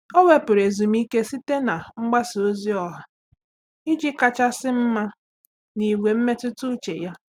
Ọ́ wèpụ̀rụ̀ ezumike site na mgbasa ozi ọha iji kàchàsị́ mma n’ígwé mmetụta úchè ya.